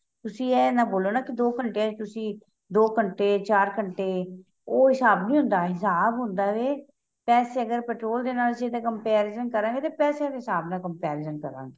ਤੁਸੀਂ ਏਹ ਨਾ ਬੋਲੋਂ ਨਾ ਕੀ ਦੋ ਘੰਟੇ ਚ ਤੁਸੀਂ ਦੋ ਘੰਟੇ ਚਾਰ ਘੰਟੇ ਉਹ ਹਿਸਾਬ ਨਹੀਂ ਹੁੰਦਾ ਹਿਸਾਬ ਹੁੰਦਾ ਵੇ ਪੈਸੇ ਅਗ਼ਰ petrol ਦੇ ਨਾਲ ਚੀਜ਼ ਦਾ comparing ਕਰਾਗੇ ਤਾਂ ਪੈਸਿਆਂ ਦੇ ਹਿਸਾਬ ਨਾਲ comparing ਕਰਾਗੇ